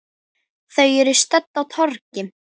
Þau eru stödd á torgi.